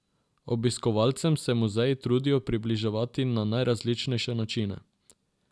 Obiskovalcem se muzeji trudijo približati na najrazličnejše načine.